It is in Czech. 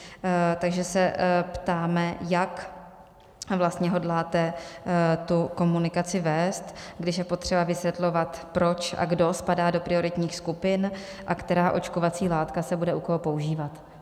Takže se ptáme, jak vlastně hodláte tu komunikaci vést, když je potřeba vysvětlovat proč a kdo spadá do prioritních skupin a která očkovací látka se bude u koho používat.